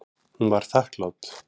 Hún var þakklát.